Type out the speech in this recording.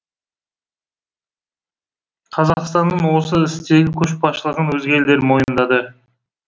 қазақстанның осы істегі көшбасшылығын өзге елдер мойындады